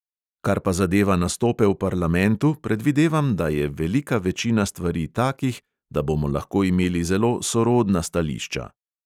Kar pa zadeva nastope v parlamentu, predvidevam, da je velika večina stvari takih, da bomo lahko imeli zelo sorodna stališča.